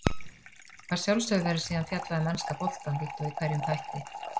Að sjálfsögðu verður síðan fjallað um enska boltann líkt og í hverjum þætti.